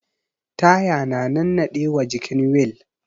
Taya na nannaɗe wa jikin wil